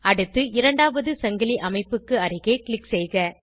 அடுத்து இரண்டாவது சங்கிலி அமைப்புக்கு அருகே க்ளிக் செய்க